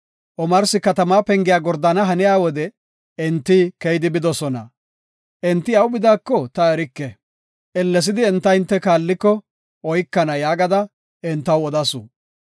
Omarsi katama pengiya gordana haniya wode, enti keyidi bidosona. Enti awu bidaako ta erike. Ellesidi enta hinte kaalliko, oykana” yaagada entaw odasu.